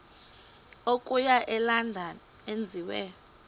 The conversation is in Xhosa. okuya elondon enziwe